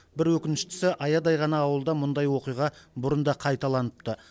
бір өкініштісі аядай ғана ауылда мұндай оқиға бұрын да қайталаныпты